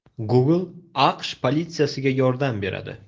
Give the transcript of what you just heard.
Google AQSh politsiyasiga yordam beradi.